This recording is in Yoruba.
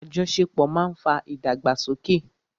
Àjọṣepọ̀ ma ń fa ìdàgbàsókè.